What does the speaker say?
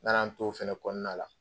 N nana n t'o fana kɔnɔna la